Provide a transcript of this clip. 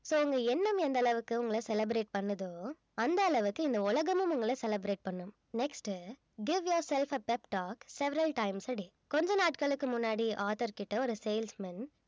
so உங்க எண்ணம் எந்த அளவுக்கு உங்கள celebrate பண்ணுதோ அந்த அளவுக்கு இந்த உலகமும் உங்கள celebrate பண்ணும் next uh give yourself a pep talk several times a day கொஞ்ச நாட்களுக்கு முன்னாடி author கிட்ட ஒரு salesmen